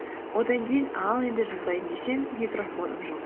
одан кейін ал енді жазайын десем микрофоным жоқ